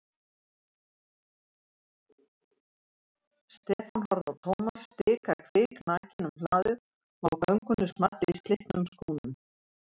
Stefán horfði á Thomas stika kviknakinn um hlaðið og á göngunni small í slitnum skónum.